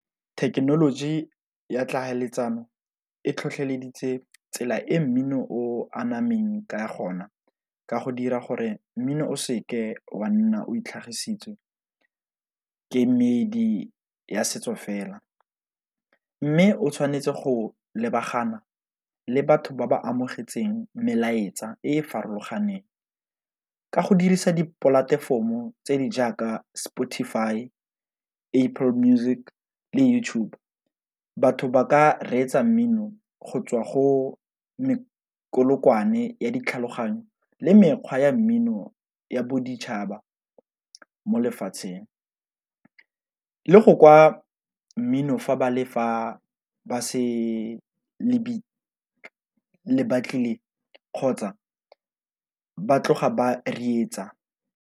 Thekenoloji ya tlhaeletsano e tlhotlheleditse tsela e mmino o anameng ka gona, ka go dira gore mmino o se ke wa nna o itlhagisitse kemedi ya setso fela, mme o tshwanetse go lebagana le batho ba ba amogetseng melaetsa e e farologaneng ka go dirisa dipolatefomo tse di jaaka Spotify, Apple Music, le YouTube. Batho ba ka reetsa mmino go tswa go melokwane ya ditlhaloganyo le mekgwa ya mmino ya boditšhaba mo lefatsheng, le go kwa mmino fa ba le le batlile kgotsa ba tloga ba reetsa.